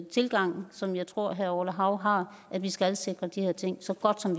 tilgang som jeg tror herre orla hav har at vi skal sikre de her ting så godt som